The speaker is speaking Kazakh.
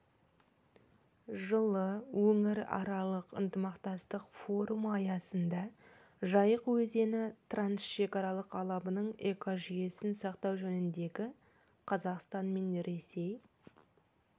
жылы өңіраралық ынтымақтастық форумы аясында жайық өзені трансшекаралық алабының экожүйесін сақтау жөніндегі қазақстан мен ресей